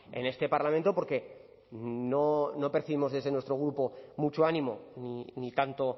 en este parlamento porque no percibimos desde nuestro grupo mucho ánimo ni tanto